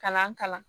Kalan kalan